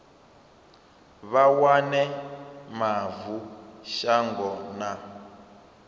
vha wane mavu shango na